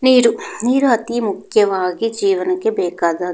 ನೀರು ನೀರು ಅತಿ ಮುಖ್ಯವಾಗಿ ಜೀವನಕ್ಕೆ ಬೇಕಾದ --